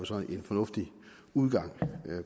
så er en fornuftig udgang